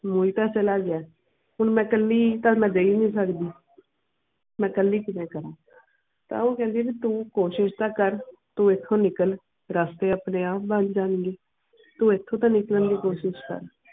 ਹੁਣ ਤੇ ਚਲਾ ਗਿਆ ਹੁਣ ਮੈਂ ਕਾਲੀ ਕਲ ਮੈਂ ਗਈ ਵੀ ਸ ਕਿਦ੍ਹੇ ਮੈਂ ਕਾਲੀ ਕੀਵੇ ਕੇਰਾ ਤਾ ਉਹ ਕੈਂਦੀ ਕੇ ਤੂੰ ਕੋਸ਼ਿਸ਼ ਤੇ ਕਰ ਤੂੰ ਐਟਹੁ ਨਿਕਲ ਰਸਤੇ ਆਪਣੇ ਆਪ ਬਣ ਜਾਨ ਦੇ ਤੂੰ ਐਟਹੁ ਤੇ ਨਿਕਲਣ ਦੀ ਕੋਸ਼ਿਸ਼ ਕਰ.